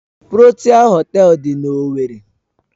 Protia Họtelu dị na owerri.